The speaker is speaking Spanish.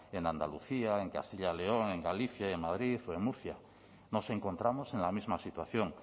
en andalucía en castilla león en galicia en madrid o en murcia nos encontramos en la misma situación